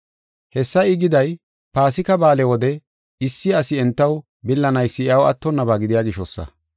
Hessa I giday Paasika Ba7aale wode issi asi entaw billanaysi iyaw attonnaba gidiya gishosa.